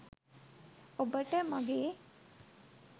ඔබට මගේ